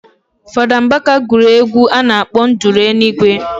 Fada mbaka guru egwu a nakp nduru enigwe